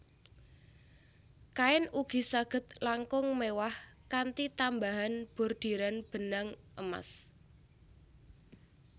Kain ugi saged langkung mewah kanthi tambahan bordiran benang emas